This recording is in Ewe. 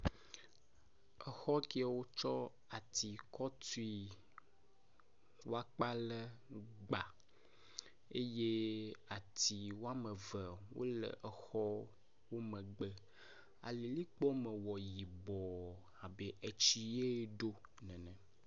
Exɔ kewo tsɔ atsi kɔ tui wɔkpa le gba eye atsi wɔme eve wo le exɔ wo megbe alilikpoa me wɔ yibɔ abe etsi ye ɖo nene.